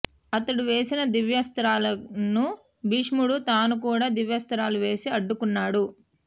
అతడు వేసిన దివ్యాస్త్రాలను భీష్ముడు తాను కూడా దివ్యాస్త్రాలు వేసి అడ్డుకున్నాడు